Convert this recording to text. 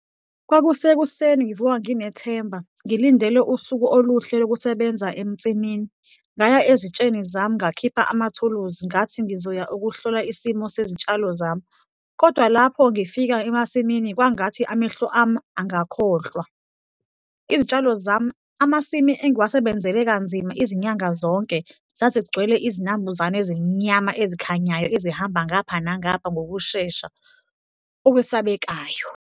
Kwakusekuseni, ngivuka nginethemba, ngilindele usuku oluhle lokusebenza ensimini. Ngaya ezitsheni zami ngakhipha amathuluzi, ngathi ngizoya ukuhlola isimo sezitshalo zami kodwa lapho ngifika emasimini kwangathi amehlo ami angakhohlwa, izitshalo zami, amasimi engiwasebenzele kanzima izinyanga zonke zazigcwele izinambuzane ezimnyama, ezikhanyayo, ezihamba ngapha nangapha ngokushesha okwesabekayo.